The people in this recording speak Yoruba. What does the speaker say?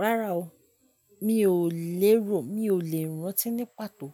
Rárá o, mi ò lè rántí ní pàtó